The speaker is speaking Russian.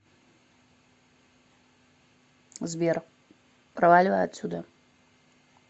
сбер проваливай отсюда